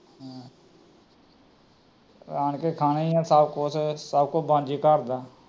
ਆਣਕੇ ਖਾਣਾ ਈ ਏ ਸਬ ਕੁਛ, ਸਬ ਕੁਛ ਬਣਜੇ ਘੱਰ ਦਾ